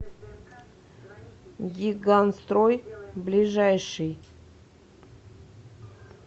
гигантстрой ближайший